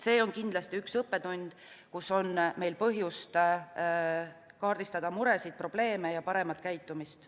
See on kindlasti üks õppetund, kus meil on põhjust kaardistada muresid, probleeme ja paremat käitumist.